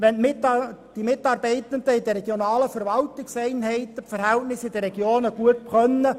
Es ist sicher von Vorteil, wenn die Mitarbeitenden in den regionalen Verwaltungseinheiten die Verhältnisse in den Regionen gut kennen.